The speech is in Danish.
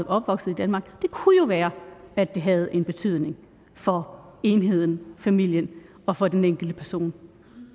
opvokset i danmark det kunne jo være at det havde en betydning for enheden familien og for den enkelte person